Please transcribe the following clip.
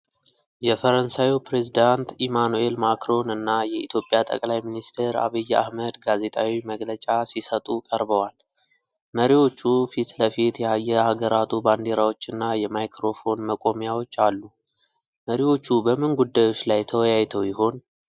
የፈረንሳዩ ፕሬዝዳንት ኢማኑኤል ማክሮን እና የኢትዮጵያ ጠቅላይ ሚኒስትር ዐቢይ አህመድ ጋዜጣዊ መግለጫ ሲሰጡ ቀርበዋል። መሪዎቹ ፊት ለፊት የየሀገራቱ ባንዲራዎችና የማይክሮፎን መቆሚያዎች አሉ። መሪዎቹ በምን ጉዳዮች ላይ ተወያይተው ይሆን?